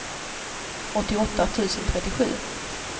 åttioåtta tusen trettiosju